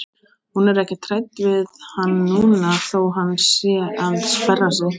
Hún er ekkert hrædd við hann núna þó að hann sé að sperra sig.